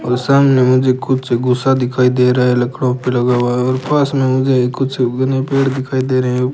और सामने मुझे कुछ गुसा दिखाई दे रहा है लकड़ों पे लगा हुआ और पास में मुझे कुछ घने पेड़ दिखाई दे रहे हैं।